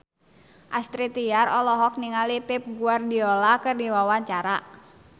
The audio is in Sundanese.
Astrid Tiar olohok ningali Pep Guardiola keur diwawancara